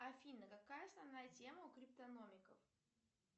афина какая основная тема у криптономиков